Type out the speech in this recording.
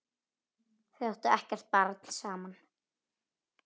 Þau áttu ekkert barn saman.